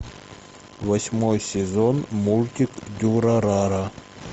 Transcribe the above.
восьмой сезон мультик дюрарара